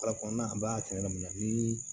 Wala kɔnɔna na an b'a kɛ yɔrɔ min na ni